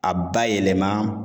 A ba yɛlɛma